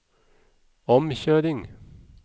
omkjøring